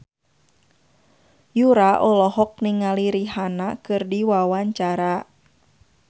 Yura olohok ningali Rihanna keur diwawancara